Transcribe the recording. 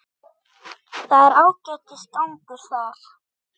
Það er ágætis gangur þar.